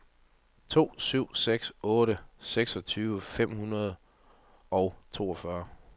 to syv seks otte seksogtyve fem hundrede og toogfyrre